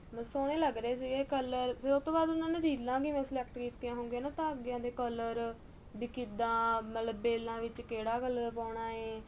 ਸੋਹਣੇ ਲੱਗ ਰਹੇ ਸੀ colour ਫ਼ੇਰ ਉਹ ਤੋ ਬਾਅਦ ਉਹਨਾ ਨੇ ਰੀਲਾ ਵੀ ਕਿਵੇਂ select ਕੀਤੀਆ ਹੋਣਗੀਆ ਤਾਂਗੇ ਦੇ colour ਵੀ ਕਿੱਦਾ ਮਤਲਬ ਬੇਲਾ ਵਿੱਚ ਕਿਹੜਾ colour ਪਾਉਣਾ ਏਹ